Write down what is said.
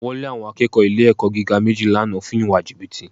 Wọ́n lé àwọn akẹ́kọ̀ọ́ ilé-ẹ̀kọ́ gíga méjì lánàá fún ìwà jìbìtì